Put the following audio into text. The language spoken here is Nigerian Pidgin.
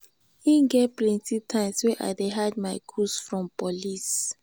e get plenty times wey i dey hide my goods from police.